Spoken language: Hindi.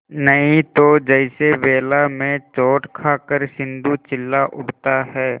नहीं तो जैसे वेला में चोट खाकर सिंधु चिल्ला उठता है